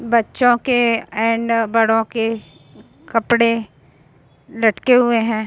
बच्चो के एंड बड़ो के कपड़े लटके हुए हैं |